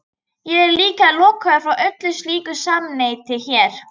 Ég er líka lokaður frá öllu slíku samneyti hér.